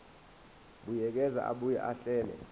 buyekeza abuye ahlele